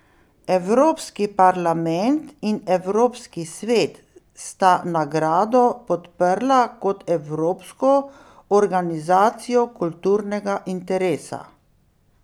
Evropski parlament in Evropski svet sta nagrado podprla kot evropsko organizacijo kulturnega interesa.